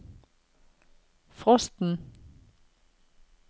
frosten